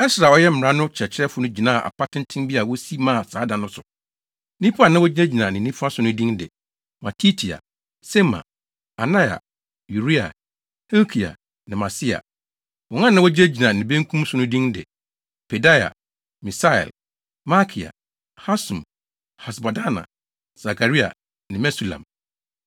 Ɛsra a ɔyɛ mmara no kyerɛkyerɛfo no gyinaa apa tenten bi a wosi maa saa da no so. Nnipa a na wogyinagyina ne nifa so no din de Matitia, Sema, Anaia, Uria, Hilkia ne Maaseia. Wɔn a na wogyinagyina ne benkum so no din de Pedaia, Misael, Malkia, Hasum, Hasbadana, Sakaria ne Mesulam.